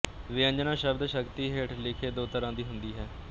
ਵਿਅੰਜਨਾਂ ਸ਼ਬਦ ਸ਼ਕਤੀ ਹੇਠ ਲਿਖੇ ਦੋ ਤਰਾਂ ਦੀ ਹੁੰਦੀ ਹੈ